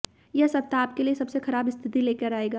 यह सप्ताह आपके लिए सबसे खराब स्थिति लेकर आएगा